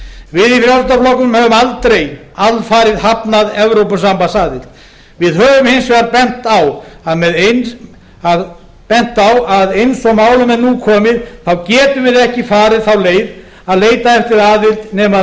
við í frjálslynda flokknum höfum aldrei alfarið hafnað evrópusambandsaðild við höfum hins vegar bent á að eins og málum er nú komið getum við ekki farið þá leið að leita eftir aðild nema